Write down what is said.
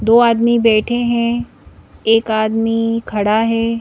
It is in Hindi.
दो आदमी बैठे हैं एक आदमी खड़ा है।